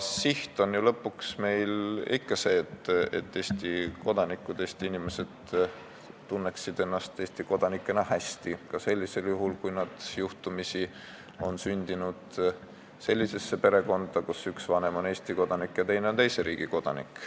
Siht on meil ju ikka see, et Eesti inimesed tunneksid ennast Eesti kodanikena hästi, ka sellisel juhul, kui nad juhtumisi on sündinud perekonda, kus üks vanem on Eesti kodanik ja teine teise riigi kodanik.